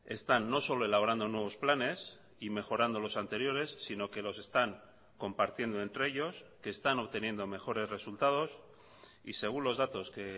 están no solo elaborando nuevos planes y mejorando los anteriores sino que los están compartiendo entre ellos que están obteniendo mejores resultados y según los datos que